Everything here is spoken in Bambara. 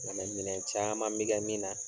Minɛn minɛn caaman be kɛ min na